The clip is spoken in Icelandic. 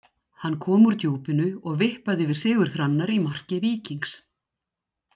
Hann kom úr djúpinu og vippaði yfir Sigurð Hrannar í marki Víkings.